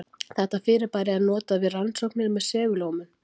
Þetta fyrirbæri er notað við rannsóknir með segulómun.